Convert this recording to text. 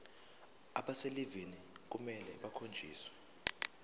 abaselivini kufanele bakhonjiswe